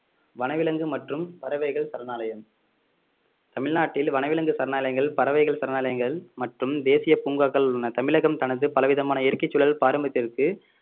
வனவிலங்கு மற்றும் பறவைகள் சரணாலயம் தமிழ்நாட்டில் வனவிலங்கு சரணாலயங்கள் பறவைகள் சரணாலயங்கள் மற்றும் தேசிய பூங்காக்கள் உள்ளன தமிழகம் தனது பல விதமான இயற்கைச் சூழல் பாரம்பரியத்திற்கு